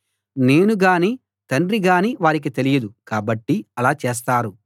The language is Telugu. నేను గాని తండ్రి గాని వారికి తెలియదు కాబట్టి అలా చేస్తారు